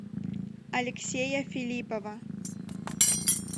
алексея филиппова